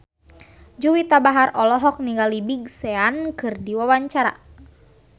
Juwita Bahar olohok ningali Big Sean keur diwawancara